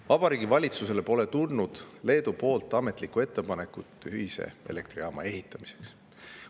Vabariigi Valitsusele pole tulnud Leedu ametlikku ettepanekut ühise elektrijaama ehitamiseks.